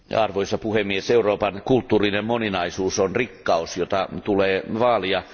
Arvoisa puhemies, Euroopan kulttuurinen moninaisuus on rikkaus, jota tulee vaalia.